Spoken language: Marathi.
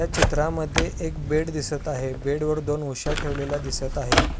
या चित्रामध्ये एक बेड दिसत आहे बेड वर दोन उशा ठेवलेल्या दिसत आहे.